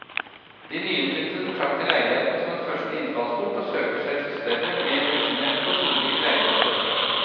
De nyinnflyttede betrakter leiligheten som en første innfallsport og søker seg til større, mer usjenerte og solrike leiligheter etterhvert.